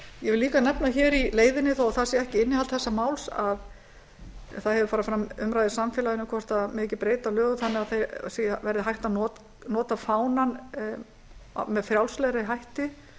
ég vil líka nefna í leiðinni þó það sé ekki innihald þessa máls að farið hefur fram umræða í samfélaginu um hvort ekki megi breyta lögum þannig að hægt verði að nota fánann með frjálslegri hætti